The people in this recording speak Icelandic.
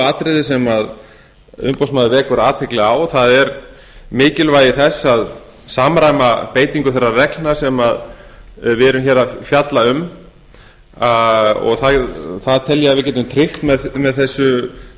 atriði sem umboðsmaður vekur athygli á það er mikilvægi þess að samræma beitingu þeirra reglna sem við erum hér að fjalla um og ég tel að við getum tryggt